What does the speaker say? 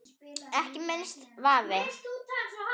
Ekki minnsti vafi.